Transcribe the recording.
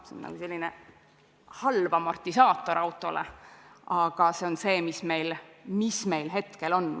See on nagu halb amortisaator autol, aga see on see, mis meil hetkel on.